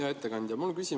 Hea ettekandja!